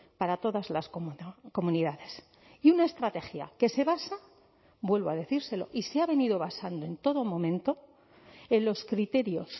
para todas las comunidades y una estrategia que se basa vuelvo a decírselo y se ha venido basando en todo momento en los criterios